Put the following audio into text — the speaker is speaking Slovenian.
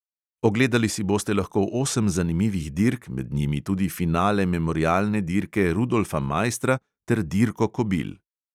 Ogledali si boste lahko osem zanimivih dirk, med njimi tudi finale memorialne dirke rudolfa maistra ter dirko kobil.